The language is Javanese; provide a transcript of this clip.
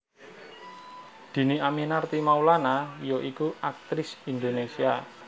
Dhini Aminarti Maulana ya iku aktris Indonésia